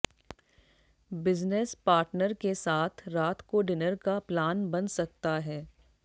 business partner के साथ रात को डिनर का प्लान बन सकता है